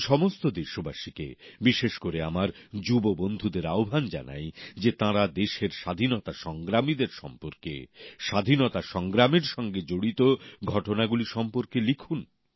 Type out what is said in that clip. আমি সমস্ত দেশবাসীকে বিশেষ করে আমার যুব বন্ধুদের আহ্বান জানাই যে তাঁরা দেশের স্বাধীনতা সংগ্রামীদের সম্পর্কে স্বাধীনতা সংগ্রামের সঙ্গে জড়িত ঘটনাগুলি সম্পর্কে লিখুন